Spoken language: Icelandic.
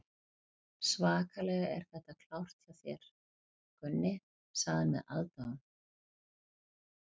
Svakalega er þetta klárt hjá þér, Gunni, sagði hann með aðdáun.